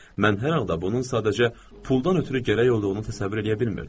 Mən hər halda bunun sadəcə puldan ötrü gərək olduğunu təsəvvür eləyə bilmirdim.